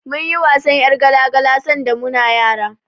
Mun yi wasan ƴar gala-gala sanda muna yara.